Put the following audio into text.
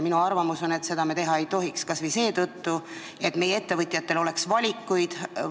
Minu arvamus on, et seda me ei tohiks teha kas või seetõttu, et meie ettevõtjatel oleks valikuid.